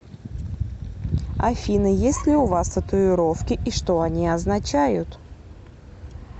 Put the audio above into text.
афина есть ли у вас татуировки и что они означают